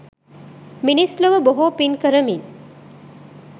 මිනිස් ලොව බොහෝ පින් කරමින්